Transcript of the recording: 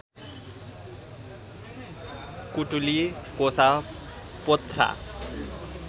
कुटुली कोसा पोथ्रा